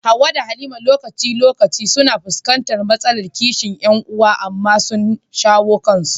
Hawwa da Halima lokaci-lokaci suna fuskantar matsalar kishin ƴan uwa, amma sun shawo kansu.